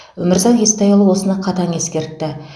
өмірзақ естайұлы осыны қатаң ескертті